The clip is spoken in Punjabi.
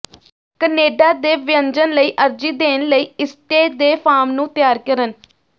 ਕਨੇਡਾ ਦੇ ਵਿਅੰਜਨ ਲਈ ਅਰਜ਼ੀ ਦੇਣ ਲਈ ਈਸਟੇ ਦੇ ਫਾਰਮ ਨੂੰ ਤਿਆਰ ਕਰਨ